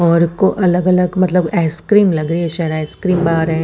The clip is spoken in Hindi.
और को अलग अलग मतलब आइसक्रीम लगाई है शायद आइसक्रीम बार है।